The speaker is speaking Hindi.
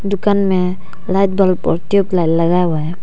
दुकान में लाइट बल्ब और ट्यूब लाइट लगा हुआ है।